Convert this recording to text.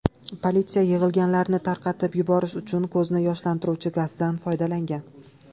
Politsiya yig‘ilganlarni tarqatib yuborish uchun ko‘zni yoshlantiruvchi gazdan foydalangan.